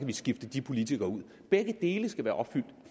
vi skifte de politikere ud begge dele skal være opfyldt